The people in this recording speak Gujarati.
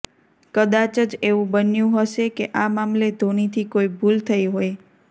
કદાચ જ એવું બન્યું હશે કે આ મામલે ધોનીથી કોઇ ભૂલ થઇ હોય